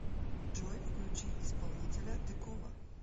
джой включи исполнителя декова